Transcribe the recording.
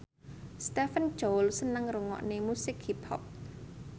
Stephen Chow seneng ngrungokne musik hip hop